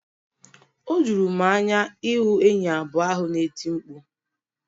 O juru m anya ịhụ enyi abụọ ahụ na-eti mkpu..